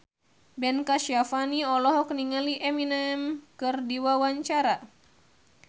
Ben Kasyafani olohok ningali Eminem keur diwawancara